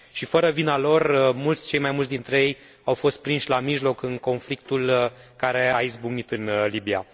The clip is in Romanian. Și, fără vina lor, cei mai mulți dintre ei au fost prinși la mijloc în conflictul care a izbucnit în Libia.